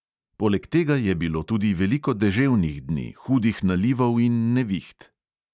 Poleg tega je bilo tudi veliko deževnih dni, hudih nalivov in neviht.